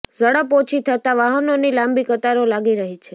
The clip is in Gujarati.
ઝડપ ઓછી થતાં વાહનોની લાંબી કતારો લાગી રહી છે